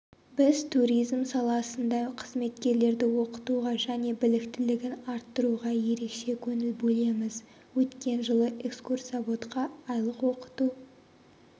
біз туризм саласында қызметкерлерді оқытуға және біліктілігін арттыруға ерекше көңіл бөлеміз өткен жылы экскурсоводқа айлық оқыту